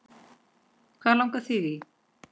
Hvað langar þig í!